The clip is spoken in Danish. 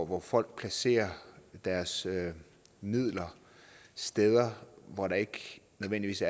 hvor folk placerer deres midler steder hvor der ikke nødvendigvis